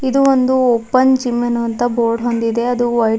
ಇದು ಒಂದು open gym ಎನ್ನುವಂತ ಬೋರ್ಡ್ ಹೊಂದಿದೆ ಅದು ವೈಟ್ --